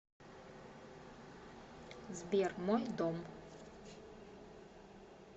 сбер мой дом